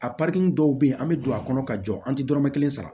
A dɔw bɛ yen an bɛ don a kɔnɔ ka jɔ an tɛ dɔrɔmɛ kelen sara